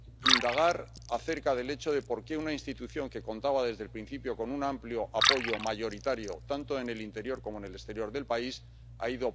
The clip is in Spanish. indagar acerca del hecho de por qué una institución que contaba desde el principio con un amplio apoyo mayoritario, tanto en el interior como en el exterior del país, ha ido poco a poco debilitándose.